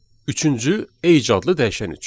Üçüncü age adlı dəyişən üçün.